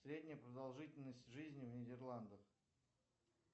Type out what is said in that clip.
средняя продолжительность жизни в нидерландах